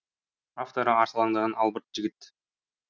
авторы арсалаңдаған албырт жігіт